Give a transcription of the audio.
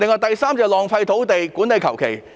第三，浪費土地、管理馬虎。